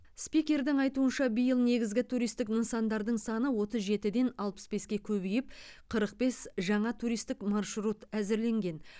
спикердің айтуынша биыл негізгі туристік нысандардың саны отыз жетіден алпыс беске көбейіп қырық бес жаңа туристік маршрут әзірленген